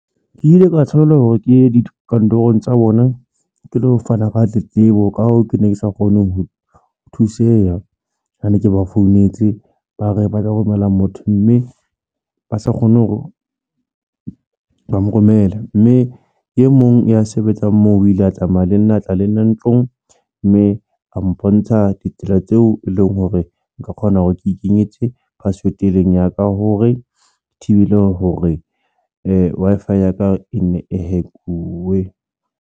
Ke ile ka tshwanela hore ke ye dikantorong tsa bona ke lo fana ka tletlebo. Ka hoo, ke ne ke sa kgone ho thuseha ha ne ke ba founetse ba re ba tla romela motho mme ba sa kgone hore ba mo romela mme e mong ya sebetsang moo o ile a tsamaya le nna a tla le nna ntlong mme a mpontsha ditsela tseo e leng hore nka kgona hore ke ikenyetse password eleng ya ka hore ke thibele hore Wi-Fi ya ka e nne e hack-uwe.